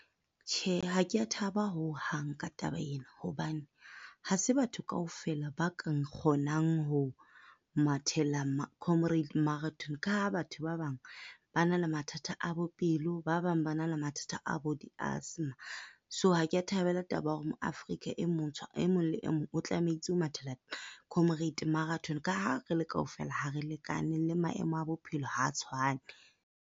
Tjhe, ha kea thaba hohang ka taba ena hobane ha se batho kaofela ba ka nkgonang ho mathela Comrades Marathon ka ha batho ba bang ba na le mathata a bo pelo, ba ba bang ba na le mathata a bo di-asthma. So, ha kea thabela taba ya hore mo-Afrika e mong le e mong o tlamehetse o mathela Comrade Marathon ka ha re le kaofela, ha re lekane le maemo a bophelo ha tshwane.